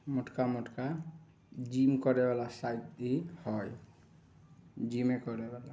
मोटका-मोटका gym करे वाला cycle हेय जीमे करे वाला ----